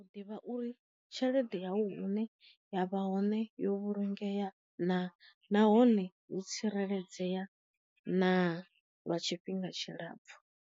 U ḓivha uri tshelede yawu ine yavha hone yo vhulungea na nahone hu tsireledzea na lwa tshifhinga tshilapfu.